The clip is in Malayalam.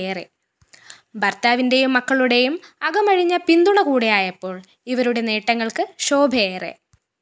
ഭര്‍ത്താവിന്റെയും മക്കളുടെയും അകമഴിഞ്ഞ പിന്തുണ കൂടിയായപ്പോള്‍ ഇവരുടെ നേട്ടങ്ങള്‍ക്ക് ശോഭയേറെ